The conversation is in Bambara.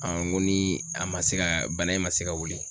ni a ma se ka bana in ma se ka wuli